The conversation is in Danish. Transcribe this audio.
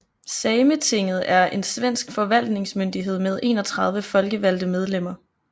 Sametinget er en svensk forvaltningsmyndighed med 31 folkevalgte medlemmer